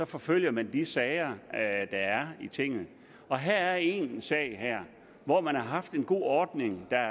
forfølger man de sager der er i tinget og her er en sag hvor man har haft en god ordning der